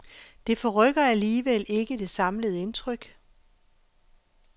Det forrykker alligevel ikke det samlede indtryk.